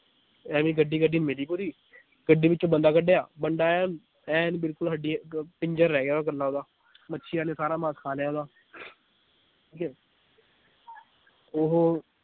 ਐਵੀਂ ਗੱਡੀ ਗੱਡੀ ਮਿਲੀ ਪੂਰੀ ਗੱਡੀ ਵਿਚੋਂ ਬੰਦੇ ਕਢਿਆ ਬੰਦੇ ਐਨ ਐਨ ਬਿਲਕੁਲ ਹੱਡੀ ਇਕ ਪਿੰਜਰ ਰਹਿ ਗਿਆ ਕੱਲਾ ਓਹਦਾ ਮੱਛੀਆਂ ਨੇ ਸਾਰਾ ਮਾਸ ਖਾ ਲਿਆ ਓਹਦਾ ਠੀਕ ਏ ਉਹ